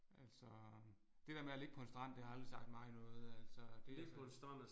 Altså det der med at ligge på en strand det har aldrig sagt mig noget altså det så